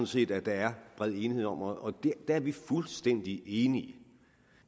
set at der er bred enighed om og der er vi fuldstændig enige